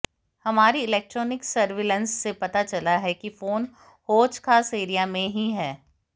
हमारी electronic surveillance से पता चला है कि फोन हौज खास एरिया में ही है